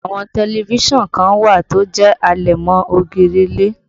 Àwọn tẹlifísàn kan wà tó jẹ́ àlẹ̀mọ́-ògiri ilé